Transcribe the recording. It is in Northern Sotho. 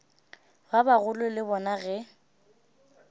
ba bagolo le bona ge